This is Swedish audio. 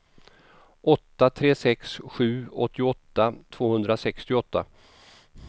åtta tre sex sju åttioåtta tvåhundrasextioåtta